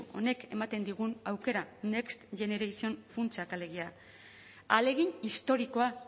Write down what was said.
honek ematen digun aukera next generation funtsak alegia ahalegin historikoa